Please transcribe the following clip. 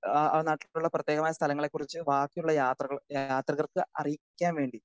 speaker 2 അഹ് ആ നാട്ടിലുള്ള പ്രത്യേകമായ സ്ഥലങ്ങളെക്കുറിച്ച് വാക്കിയുള്ള യാത്രകർക്ക് അറിയിക്കാൻ വേണ്ടി